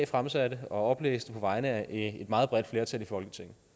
fremsat og oplæste på vegne af meget bredt flertal i folketinget